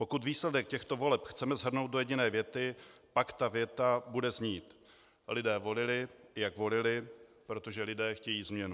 Pokud výsledek těchto voleb chceme shrnout do jediné věty, pak ta věta bude znít: Lidé volili, jak volili, protože lidé chtějí změnu.